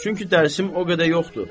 Çünki dərsim o qədər yoxdur.